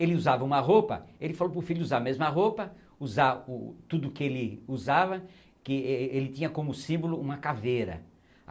Ele usava uma roupa, ele falou para o filho usar a mesma roupa, usar o tudo o que ele usava, que êh êh ele tinha como símbolo uma caveira.